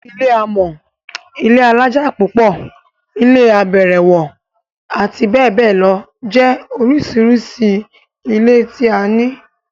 Ilé amọ́, ilé alájà pupo, ilé abẹ̀rẹ̀wọ̀, abbl jẹ́ oríṣiríṣi ilé tí a ní.